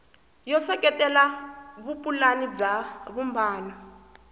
yo seketela vupulani bya vumbano